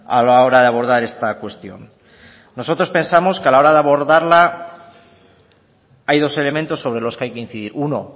a la hora de abordar esta cuestión nosotros pensamos que a la hora de abordarla hay dos elementos sobre los que hay que incidir uno